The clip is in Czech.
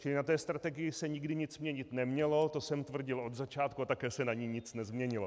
Čili na té strategii se nikdy nic měnit nemělo, to jsem tvrdil od začátku, a také se na ní nic nezměnilo.